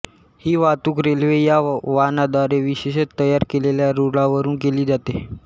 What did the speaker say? ही वाहतूक रेल्वे ह्या वाहनाद्वारे विशेषतः तयार केलेल्या रुळांवरून केली जाते